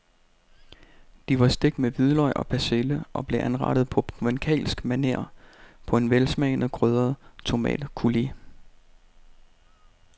De var stegt med hvidløg og persille og blev anrettet på provencalsk maner på en velsmagende krydret tomatcoulis.